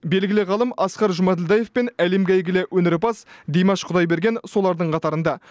белгілі ғалым асқар жұмаділдаев пен әлемге әйгілі өнерпаз димаш құдайберген солардың қатарында